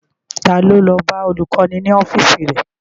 Ta ló lọ bá olùkọ́ni ní ọ́fíìsì rẹ̀?